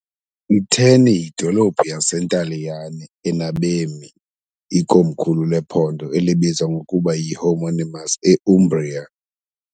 I-Terni yidolophu yaseNtaliyane enabemi , ikomkhulu lephondo elibizwa ngokuba yi-homonymous e- Umbria .